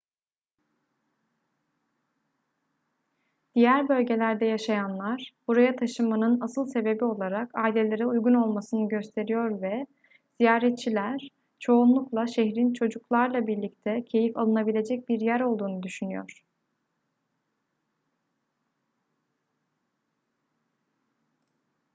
diğer bölgelerde yaşayanlar buraya taşınmanın asıl sebebi olarak ailelere uygun olmasını gösteriyor ve ziyaretçiler çoğunlukla şehrin çocuklarla birlikte keyif alınabilecek bir yer olduğunu düşünüyor